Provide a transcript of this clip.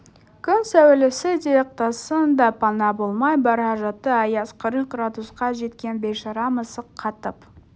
күн сәулесі де ықтасын да пана болмай бара жатты аяз қырық градусқа жеткен бейшара мысық қатып